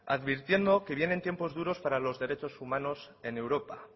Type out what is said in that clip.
advirtiendo que viene tiempos duros para los derechos humanos en europa